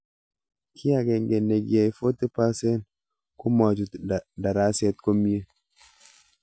Kiy ag'eng'e nekiyai 40% komachut daraset komie